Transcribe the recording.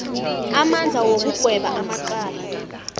amandla wokugweba amacala